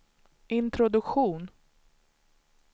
introduktion